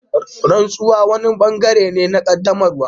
Rantsuwa wani bangare ne na qaddamarwa.